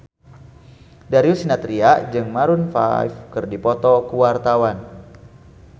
Darius Sinathrya jeung Maroon 5 keur dipoto ku wartawan